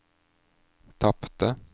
tapte